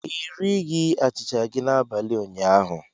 Ị righi achịcha gị n'abalị ụnyaahụ.